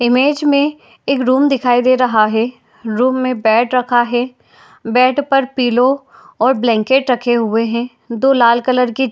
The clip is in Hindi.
इमेज में एक रूम दिखाई दे रहा है। रूम में बेड रखा है बेड पर पिलो और ब्लैंकेट रखे हुए हैं दो लाल कलर की --